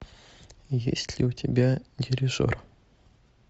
есть ли у тебя дирижер